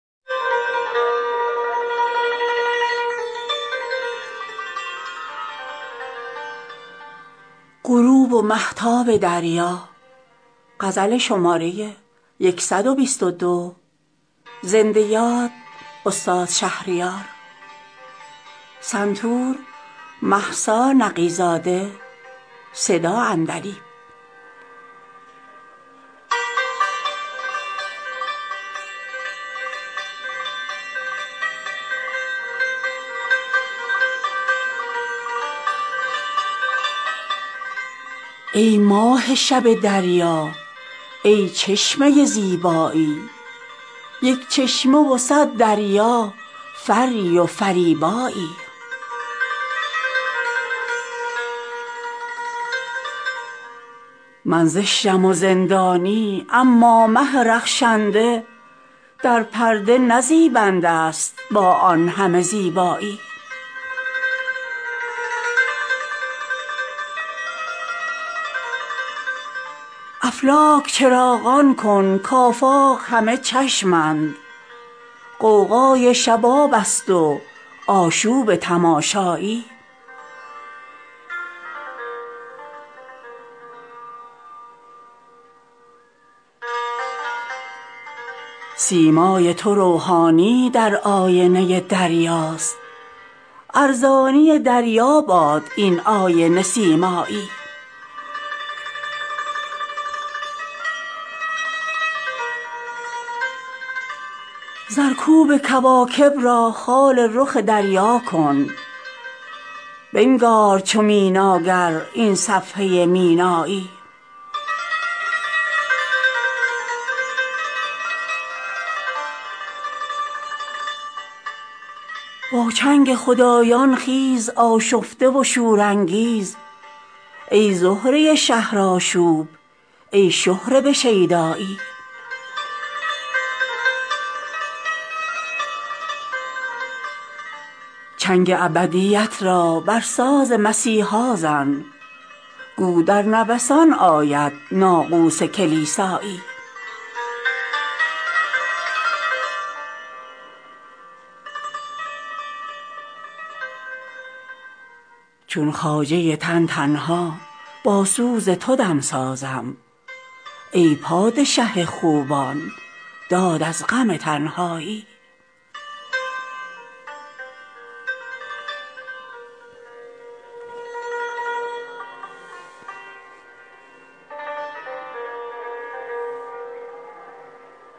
ای ماه شب دریا ای چشمه زیبایی یک چشمه و صد دریا فری و فریبایی من زشتم و زندانی اما مه رخشنده در پرده نه زیبنده است با آن همه زیبایی در چاه غم و غوغا چون من چه نشستی خیز ای یوسف از این زندان برکن سر غوغایی افلاک چراغان کن کآفاق همه چشمند غوغای شبابست و آشوب تماشایی رقاصه مهتابت خندان به سر آفاق گو باز گل افشاند با دامن دیبایی سیمای تو روحانی در آینه دریاست ارزانی دریا باد این آینه سیمایی زرکوب کواکب را خال رخ دریا کن بنگار چو میناگر این صفحه مینایی زآن شعشعه دنیایی مستغرق اندیشه است دریا همه رؤیایی رؤیا همه دریایی با چنگ خدایان خیز آشفته و شورانگیز ای زهره شهرآشوب ای شهره به شیدایی چنگ ابدیت را بر ساز مسیحا زن گو در نوسان آید ناقوس کلیسایی شب مریم عذرا کن ماهش دم روح القدس کز باد سحر زاید انفاس مسیحایی با ماه فلک همتا شاهی ست زمین پیما پاینده و پوینده چون ماه به یکتایی ای ماه اگر سایی رخ در قدمش بینی کز چشم تو می افتد این سر به فلک سایی دنبال رد پایش آهوی ختن چون باد یک لحظه نیاساید از بادیه پیمایی چون صومعه راهب در خلوت صحراها هر خیمه که زد با وی سری ست سویدایی در خواب و خیال عمر از تلخ و ترش چیزی چون شور تو شیرین نی ای شاهد رویایی چندان به شکیبایی از شوق تو پیچیدیم کز شکوه به گردون شد فریاد شکیبایی چون خواجه تن تنها با سوز تو دمسازم ای پادشه خوبان داد از غم تنهایی